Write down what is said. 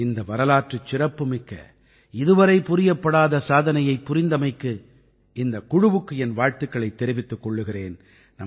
இந்த வரலாற்றுச் சிறப்புமிக்க இதுவரை புரியப்படாத சாதனையைப் புரிந்தமைக்கு இந்தக் குழுவுக்கு என் வாழ்த்துக்களைத் தெரிவித்துக் கொள்கிறேன்